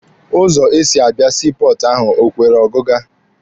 Ụzọ esi abịa sii pọọtụ ahụ o kwere ọgịga?